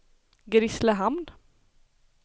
Grisslehamn